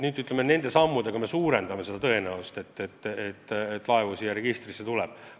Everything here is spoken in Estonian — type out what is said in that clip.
Nüüd me nende sammudega suurendame tõenäosust, et laevu siia registrisse tuleb.